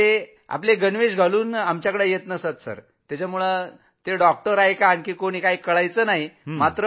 ते आपले ड्रेस घालून येत नसत त्यामुळे सर डॉक्टर आहेत की वॉर्डबॉय हेच कळत नसायचं